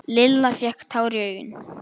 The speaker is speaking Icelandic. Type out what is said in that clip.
Lilla fékk tár í augun.